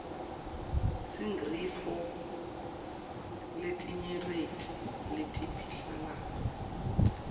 singnrifo letinyerti letipihlalco